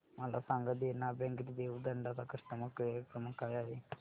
मला सांगा देना बँक रेवदंडा चा कस्टमर केअर क्रमांक काय आहे